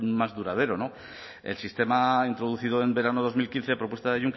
más duradero no el sistema ha introducido en verano de dos mil quince a propuesta de